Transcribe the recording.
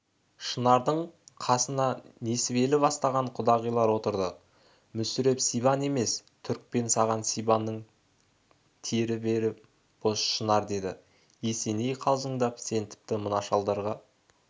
шынардың қасына несібелі бастаған құдағилар отырды мүсіреп сибан емес түрікпен саған сибанның тері бәрі бос шынар деді есеней қалжыңдап сен тіпті мына шалдарға